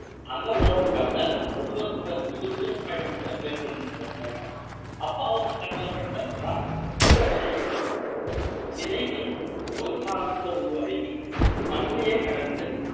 அந்த உணவுக்காக ரொம்ப வெகுதூரம் பயணங்களை மேற்கொண்டு இருக்காரு அப்ப அவங்க கண்ணுல பட்டதுதான் இந்த விதைகள் விதைகள் ஒரு காலத்துல உருவாகி மண்ணையே கடந்து